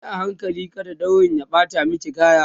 Yi a hankali kada daurin ya ɓata maki kaya